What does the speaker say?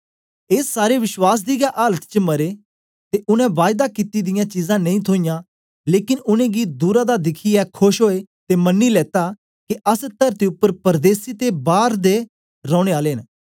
ए सारे विश्वास दी गै आलत च मरे ते उनै बायदा कित्ती दियां चीजां नेई थोइयां लेकन उनेंगी दूरा दा दिखियै खोश ओए ते मन्नी लेता के अस तरती उपर परदेसी ते बार दे रौने आले न